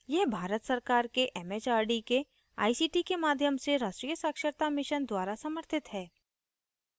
यह भारत सरकार के एमएचआरडी के आईसीटी के माध्यम से राष्ट्रीय साक्षरता mission द्वारा समर्थित है